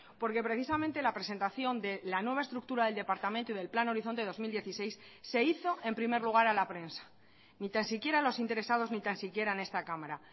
porque precisamente la presentación de la nueva estructura del departamento y del plan horizonte dos mil dieciséis se hizo en primer lugar a la prensa ni tan siquiera los interesados ni tan siquiera en esta cámara